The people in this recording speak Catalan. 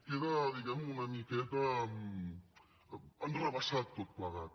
queda una miqueta enrevessat tot plegat